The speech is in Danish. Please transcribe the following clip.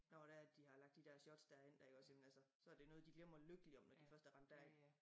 Nå det er de har lagt de dér shots dér ind dér iggås ikke altså så det noget de glemmer lykkeligt om når de først er rendt derind